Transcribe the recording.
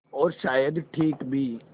और शायद ठीक भी